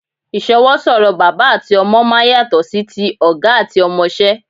Ìsọwọ́ sọ̀rọ̀ bàbá àti ọmọ máa ń yàtọ̀ sí ti ọ̀gá àti ọmọṣẹ́